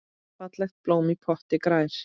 Fallegt blóm í potti grær.